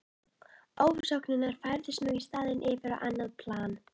GRÍMUR: Má ég kynna: Lárus Bjarnason, nýútskrifaður kandidat í lögum.